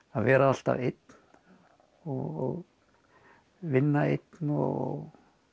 að vera alltaf einn og vinna einn og